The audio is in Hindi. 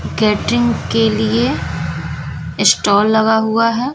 कैटरिंग के लिए स्टाल लगा हुआ है।